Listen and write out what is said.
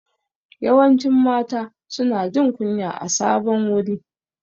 Yawancin mata su na jin kunya a sabon wuri